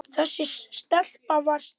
Þessi stelpa var Stína.